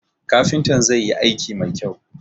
Kafintan zai yi aiki mai kyau